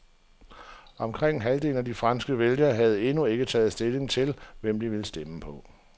Omkring halvdelen af de franske vælgere havde endnu ikke taget stilling til, hvem de ville stemme på.